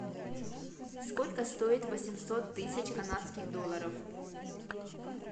сколько стоит восемьсот тысяч канадских долларов